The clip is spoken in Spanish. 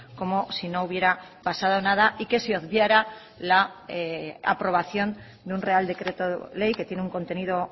como si no hubiera pasado nada y que se obviara la aprobación de un real decreto ley que tiene un contenido